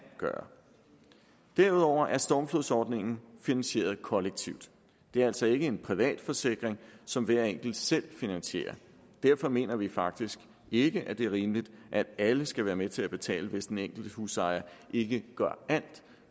gøre derudover er stormflodsordningen finansieret kollektivt det er altså ikke en privat forsikring som hver enkelt selv finansier derfor mener vi faktisk ikke at det er rimeligt at alle skal være med til at betale hvis den enkelte husejer ikke